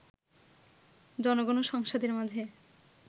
জনগণ ও সংসদের মাঝে